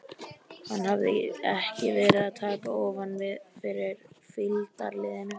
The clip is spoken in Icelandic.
Hann hafði ekki verið að taka ofan fyrir fylgdarliðinu.